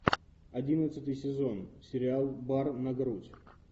одиннадцатый сезон сериал бар на грудь